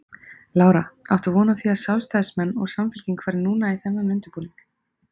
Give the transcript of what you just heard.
Lára: Áttu von á því að sjálfstæðismenn og Samfylking fari núna í þennan undirbúning?